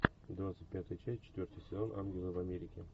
двадцать пятая часть четвертый сезон ангелы в америке